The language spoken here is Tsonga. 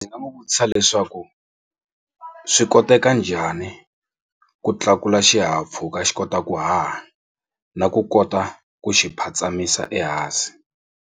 Ndzi nga n'wi vutisa leswaku swi koteka njhani ku tlakula xihahampfhuka xi kota ku haha na ku kota ku xi phatsamisa ehansi.